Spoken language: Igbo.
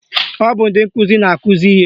Ọ bụ ndị nkụzi na-akụzi ihe